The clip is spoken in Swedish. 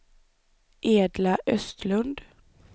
Edla Östlund